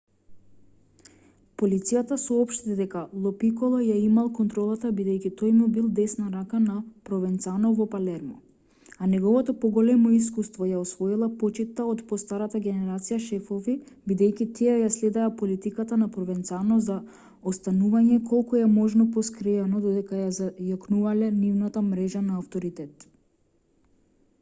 полицијата соопшти дека ло пиколо ја имал контролата бидејќи тој му бил десна рака на провенцано во палермо а неговото поголемо искуство ја освоила почитта од постарата генерација шефови бидејќи тие ја следеа политиката на провенцано за останување колку е можно поскриено додека ја зајакнувале нивната мрежа на авторитет